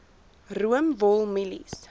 room wol mielies